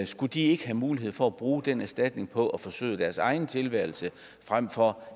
skulle de ikke have mulighed for at bruge den erstatning på at forsøde deres egen tilværelse frem for